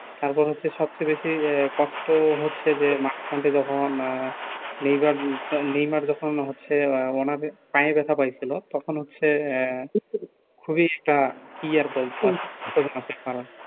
তার পর হচ্ছে সবচেয়ে বেশি কষ্ট হচ্ছে যে মাঝখানে যখন আহ নেইবার নেইমার যখন হচ্ছে ওনার পায়ে ব্যাথা পাইছিলো তখন হচ্ছে আহ খুবই একটা কি আর বলব